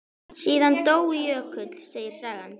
Síðan dó Jökull, segir sagan.